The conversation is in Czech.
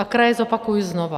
A kraje zopakuji znova.